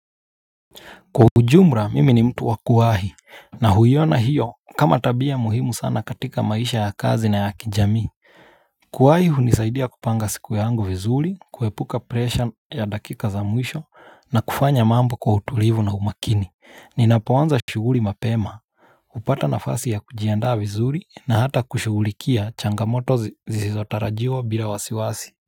Kwa ujumla mimi ni mtu wakuwahi na huiyona hiyo kama tabia muhimu sana katika maisha ya kazi na ya kijamii. Kuwahi hunisaidia kupanga siku yangu vizuri, kuepuka presha ya dakika za mwisho na kufanya mambo kwa utulivu na umakini. Ninapoanza shuguli mapema, hupata nafasi ya kujiandaa vizuri na hata kushugulikia changamoto zizotarajiwa bila wasiwasi.